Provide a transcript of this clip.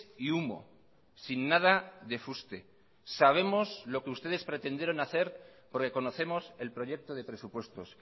y humo sin nada de fuste sabemos lo que ustedes pretendieron hacer porque conocemos el proyecto de presupuestos